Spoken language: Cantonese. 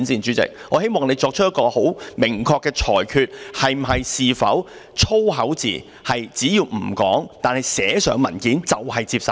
主席，我希望你作出明確的裁決，是否只要粗口字眼不說出來，而是寫在文件上，便可以接受？